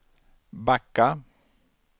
backa